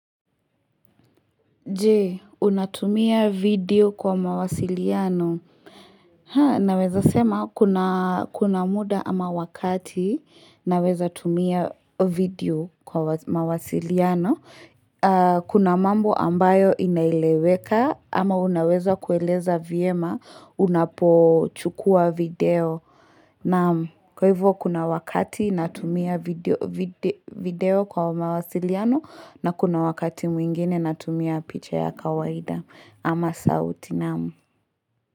Je, unatumia video kwa mawasiliano? Ha, naweza sema kuna muda ama wakati naweza tumia video kwa mawasiliano. Kuna mambo ambayo inaeleweka ama unaweza kueleza vyema unapochukua video. Na kwa hivyo kuna wakati natumia video video kwa mawasiliano na kuna wakati mwingine natumia picha ya kawaida ama sauti, naam.